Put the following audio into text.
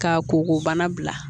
Ka koko bana bila